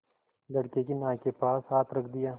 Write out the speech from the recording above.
लड़के की नाक के पास हाथ रख दिया